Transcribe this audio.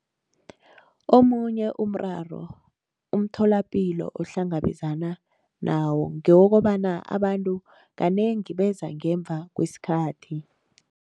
Omunye umraro umtholapilo ohlangabezana nawo ngewokobana abantu kanengi beza ngemva kwesikhathi.